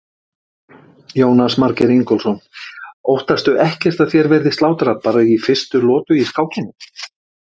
Jónas Margeir Ingólfsson: Óttastu ekkert að þér verði slátrað bara í fyrstu lotu í skákinni?